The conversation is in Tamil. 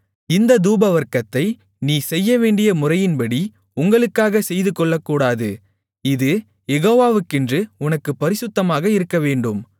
இந்தத் தூபவர்க்கத்தை நீ செய்யவேண்டிய முறையின்படி உங்களுக்காகச் செய்துகொள்ளக்கூடாது இது யேகோவாக்கென்று உனக்குப் பரிசுத்தமாக இருக்கவேண்டும்